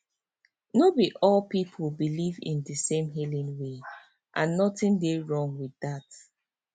no be all people believe in di same healing way and nothing dey wrong with dat